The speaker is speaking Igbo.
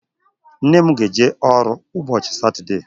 Nne m ga-eje ọrụ ụbọchị Satọdee.